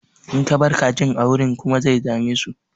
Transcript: In ka bar kajin a wurin ƙuma zai dame su.